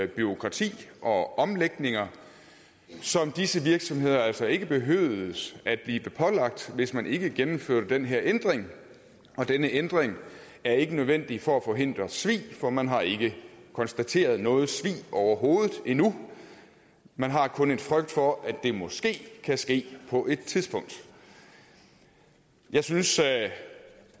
bureaukrati og omlægninger som disse virksomheder altså ikke behøvede at blive pålagt hvis man ikke gennemførte den her ændring og denne ændring er ikke nødvendig for at forhindre svig for man har ikke konstateret noget svig overhovedet endnu man har kun en frygt for at det måske kan ske på et tidspunkt jeg synes